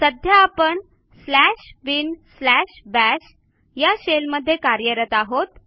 सध्या आपण slash bin slash bash या शेलमध्ये कार्यरत आहोत